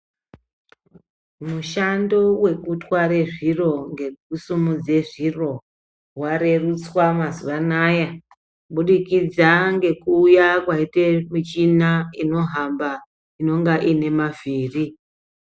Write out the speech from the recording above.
Mushando wekutware zviro ngekusumudze zviro warerutswa mazuva anaya kubudikidza ngekuuya kwaite michina inohamba inonga iine mavhiri.